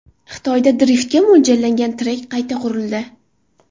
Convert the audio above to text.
Xitoyda driftga mo‘ljallangan trek qayta qurildi.